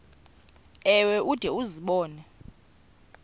ewe ude uzibone